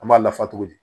An b'a lafa cogo di